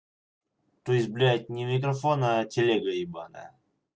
то есть блядь не микрофон а телега ебанная